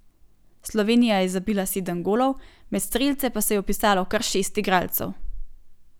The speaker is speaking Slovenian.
Slovenija je zabila sedem golov, med strelce pa se je vpisalo kar šest igralcev.